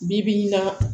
Bi bi in na